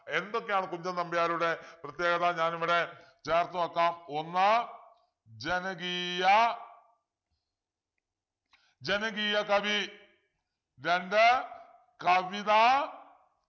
എന്തൊക്കെയാണ് കുഞ്ചൻ നമ്പ്യാരുടെ പ്രത്യേകത ഞാനിവിടെ ചേർത്ത് വെക്കാം ഒന്ന് ജനകീയ ജനകീയ കവി രണ്ട് കവിതാ